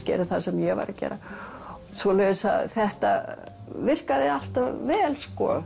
gera það sem ég var að gera svoleiðis að þetta virkaði alltaf vel sko